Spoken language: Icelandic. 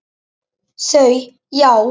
Þau: Já.